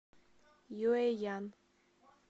юэян